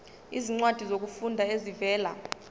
izincwadi zokufunda ezivela